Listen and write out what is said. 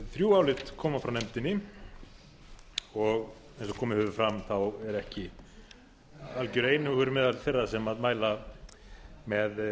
þrjú álit koma frá nefndinni og eins og komið hefur fram er ekki algjör einhugur meðal þeirra sem mæla með